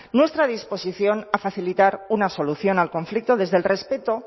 nuestra disposición a facilitar una solución al conflicto desde el respeto